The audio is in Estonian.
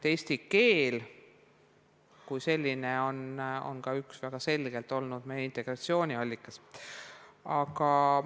Eesti keel kui selline on ka väga selgelt olnud üks meie integratsiooniallikas.